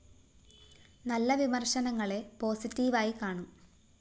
നല്ല വിമര്‍ശനങ്ങളെ പോസിറ്റീവായി കാണും